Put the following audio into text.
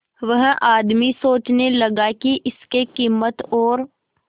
वह आदमी सोचने लगा की इसके कीमत और